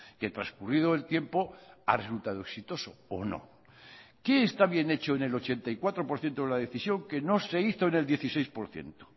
que transcurrido el tiempo ha resultado exitoso o no qué está bien hecho en el ochenta y cuatro por ciento de la decisión que no se hizo en el dieciséis por ciento